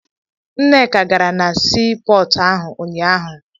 Nneka gara na sii pọọtụ ahụ unyaahụ.